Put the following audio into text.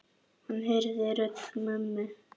Hann heyrði rödd mömmu.